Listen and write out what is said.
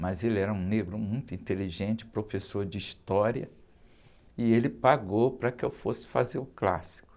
mas ele era um negro muito inteligente, professor de história, e ele pagou para que eu fosse fazer o clássico.